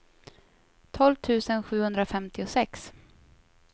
tolv tusen sjuhundrafemtiosex